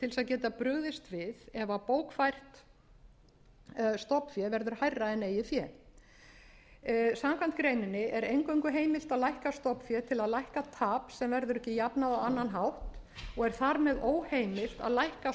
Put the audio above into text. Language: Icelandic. geta brugðist við ef bókfært stofnfé verður hærra en eigið fé samkvæmt greininni er eingöngu heimilt að lækka stofnfé til að lækka tap sem verður ekki jafnað á annan hátt og er þar með óheimilt að lækka